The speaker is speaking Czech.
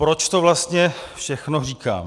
Proč to vlastně všechno říkám?